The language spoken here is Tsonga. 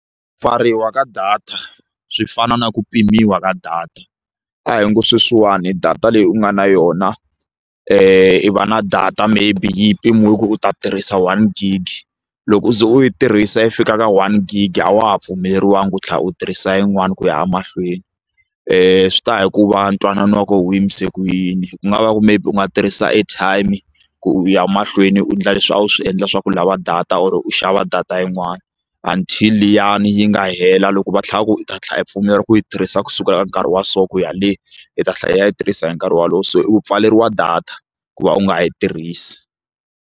Ku pfariwa ka data swi fana na ku pimiwa ka data a hi ngo sweswiwani data leyi u nga na yona i va na data maybe yi mpimiwile ku u ta tirhisa one gig loko u ze u yi tirhisa yi fika ka one gig a wa ha pfumeleriwangi ku tlha u tirhisa yin'wani ku ya a mahlweni swi taya hi ku va ntwanano wa ku wu yimise ku yini ku nga va ku maybe u nga tirhisa airtime ku u ya mahlweni u endla leswi a wu swi endla swa ku lava data or u xava data yin'wani until liyani yi nga hela loko va tlhela va ku u ta tlhela yi pfumelela ku yi tirhisa ku sukela ka nkarhi wa so ku ya le i ta tlhela yi ya yi tirhisa hi nkarhi wolowo se u pfaleriwa data ku va u nga yi tirhisi.